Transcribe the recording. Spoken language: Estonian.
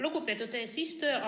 Lugupeetud eesistuja!